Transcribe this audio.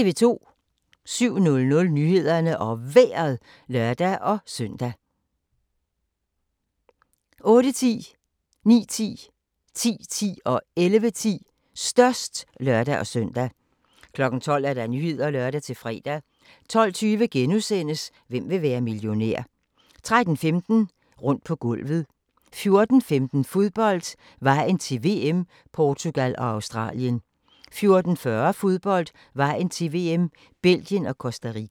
07:00: Nyhederne og Vejret (lør-søn) 08:10: Størst (lør-søn) 09:10: Størst (lør-søn) 10:10: Størst (lør-søn) 11:10: Størst (lør-søn) 12:00: Nyhederne (lør-fre) 12:20: Hvem vil være millionær? * 13:15: Rundt på gulvet 14:15: Fodbold: Vejen til VM - Portugal og Australien 14:40: Fodbold: Vejen til VM - Belgien og Costa Rica